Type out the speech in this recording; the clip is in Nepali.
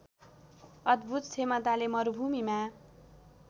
अद्‌भूत क्षमताले मरुभूमीमा